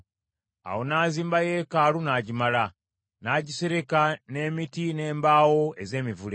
Awo n’azimba yeekaalu n’agimala, n’agisereka n’emiti n’embaawo ez’emivule.